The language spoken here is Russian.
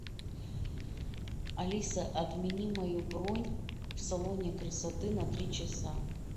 алиса отмени мою бронь в салоне красоты на три часа